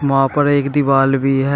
वहां पर एक दीवाल भी है।